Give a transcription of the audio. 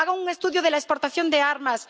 Hagan un estudio de la exportación de armas.